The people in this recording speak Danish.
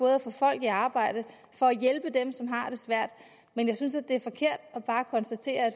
at få folk i arbejde for at hjælpe dem som har det svært men jeg synes det er forkert bare at konstatere at